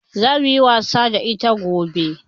Zamuyi wasa da ita gobe